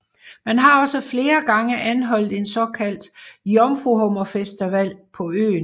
Man har også flere gange afholdt en såkaldt jomfruhummerfestival på øen